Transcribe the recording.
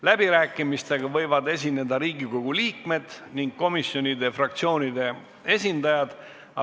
Läbirääkimistel võivad sõna võtta Riigikogu liikmed ning komisjonide ja fraktsioonide esindajad.